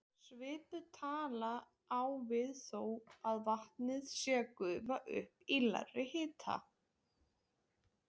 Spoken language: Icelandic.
Svipuð tala á við þó að vatnið sé að gufa upp við lægri hita.